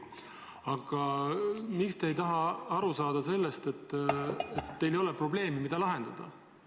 Aga miks te ei taha aru saada sellest, et teil ei ole probleemi, mida lahendada?